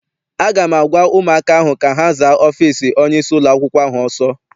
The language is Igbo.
A ga m agwa ụmụaka ahụ ka ha zaa ọfịịsi onyeisi ụlọakwụkwọ ahụ ọsọ!